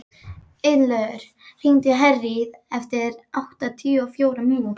Ylur, hringdu í Herríði eftir áttatíu og fjórar mínútur.